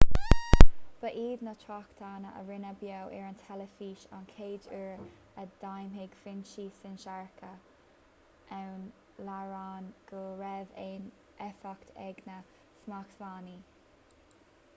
ba iad na tráchtanna a rinneadh beo ar an teilifís an chéad uair a d'admhaigh foinsí sinsearacha ón iaráin go raibh aon éifeacht ag na smachtbhannaí